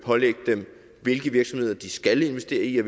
pålægge dem hvilke virksomheder de skal investere i